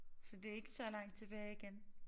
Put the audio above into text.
Så det ikke så langt tilbage igen